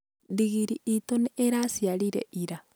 ndigiri iitu nĩ iraciarire ira.